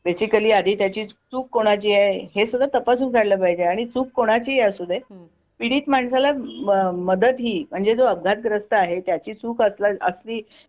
basically आधी त्याची चूक कोणाची हे सुद्धा तपासून झाला पाहिजे आणि चूक कोणाची ही असू दे पीडित माणसाला मदत ही म्हणजे जो अपघातग्रस्त आहे आहे त्या ची चूक असली